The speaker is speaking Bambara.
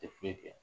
Tɛ foyi kɛ